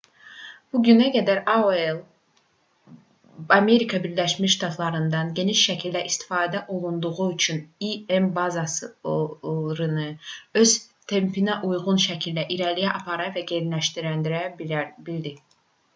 bu günə qədər aol amerika birləşmiş ştatlarında geniş şəkildə istifadə olunduğu üçün im bazarını öz tempinə uyğun şəkildə irəliyə apara və genişləndirə bildi